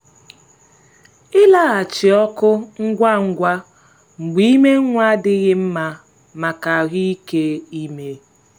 ịlaghachi ọkụ ngwa ngwa mgbe ime nwa adịghị nma maka ahụ́ike ime.